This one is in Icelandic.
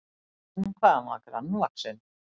En hvað hann var grannvaxinn!